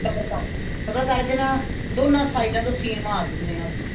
double ਕਰਕੇ ਨਾ ਦੋਨੋ ਸਈਡਾ ਤੋਂ ਸੀਨ ਮਾਰ ਦਿੰਨੇ ਹਾਂ ਅਸੀਂ